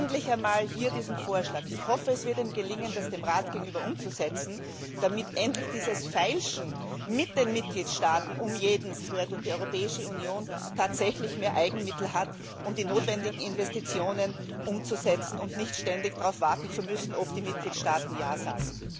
Endlich einmal hier dieser Vorschlag. Ich hoffe, es wird Ihnen gelingen, dies dem Rat gegenüber umzusetzen, damit endlich dieses Feilschen um jeden Cent mit den Mitgliedstaaten aufhört, und die Europäische Union tatsächlich mehr Eigenmittel hat, um die notwendigen Investitionen umzusetzen, und nicht ständig darauf warten muss, ob die Mitgliedstaaten ja sagen.